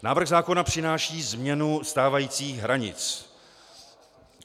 Návrh zákona přináší změnu stávajících hranic.